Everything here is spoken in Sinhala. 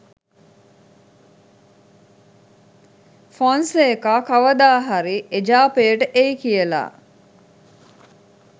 ෆොන්සේකා කවදාහරි එජාපයට එයි කියලා.